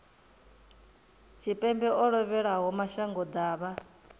tshipembe o lovhelaho mashango ḓavha